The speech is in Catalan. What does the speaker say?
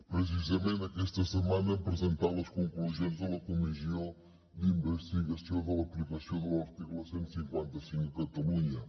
precisament aquesta setmana hem presentat les conclusions de la comissió d’investigació de l’aplicació de l’article cent i cinquanta cinc a catalunya